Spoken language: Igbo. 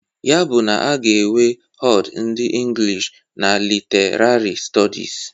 Ya bụ na a ga-enwe HoD ndị Inglish and Literarị Stọdis.